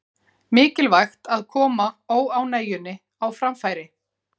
Mikilvægt að koma óánægjunni á framfæri